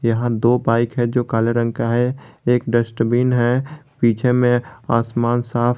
यहां दो बाइक है जो काले रंग का है एक डस्टबिन है पीछे में आसमान साफ है।